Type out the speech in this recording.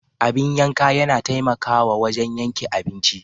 Abin yanka yana taimakawa wajen yanke abinci.